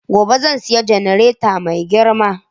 Gobe zan saya jannareta mai girma.